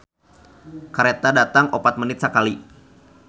"Kareta datang opat menit sakali"